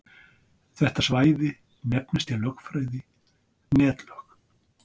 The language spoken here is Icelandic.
Þetta svæði nefnist í lögfræði netlög.